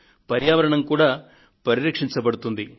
పర్యావరణం కూడా పరిరక్షించబడుతుంది